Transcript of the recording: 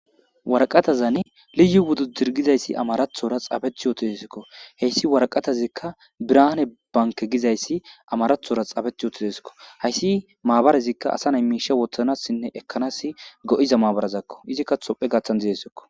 warqatazane liyu wudidirgizayssi amarathora xaabethi yootisikko heyssi waraqatazikka birane banke gizayssi amarathora xaabeth utideskko hayssi maabarezikka asa nay miisha wothanassinne ekkanas go7iza maabarazakko izikka tophe gaththan dizesekko